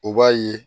O b'a ye